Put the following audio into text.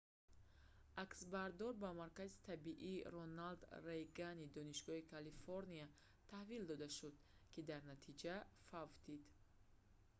аксбардор ба маркази тиббии роналд рейгани донишгоҳи калифорния таҳвил дода шуд ки дар натиҷа фавтид